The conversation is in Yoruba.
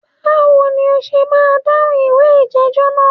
Báwo ni o ṣe máa dáhùn ìwé ìjẹ́jọ́ náà?